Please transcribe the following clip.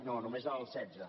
no només el setze